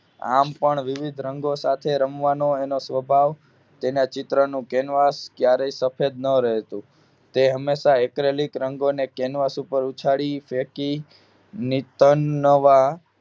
આમ પણ વિવિધ રંગો સાથે રમવા એનો સ્વભાવ તેના ચિત્ર નું કેન્વાસ ક્યારે સફેદ ન રહેતું તે હંમેશા Acrylic રંગોને કેન્વાસ ઉપર ઉછાળી ફેકી નિત નવા